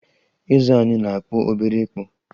Eze anyị na-akpụ obere ịkpụ